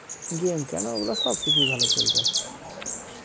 game কেনো ওগুলা সব কিছুই ভালো চলবে